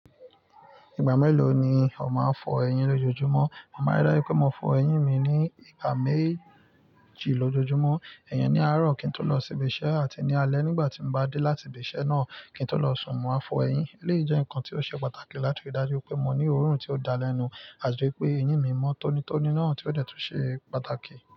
Ìgbà mélòó ni ọ má ń fọ eyín lójojúmọ́? Mama rí dájú pé mo fọ eyín mi ní ìgbà méjì lójojúmọ́. Iyẹn ní àárọ̀ kí n tó lọ sí ibi iṣẹ́ àti ní alé nígbà tí mo bá dé láti ibi iṣẹ́ náà kí n tó lọ sùn mo á fọ eyín. Eléyìí jẹ́ nǹkan tí ó ṣe pàtàkì láti rí dájú pé mo ní oòrùn tí ó dalẹ́nu àti pé eyín mi mọ́ tónítóní náà tí ó dẹ́rùn tó ṣe pàtàkì.